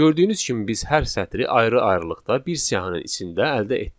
Gördüyünüz kimi biz hər sətri ayrı-ayrılıqda bir siyahının içində əldə etdik.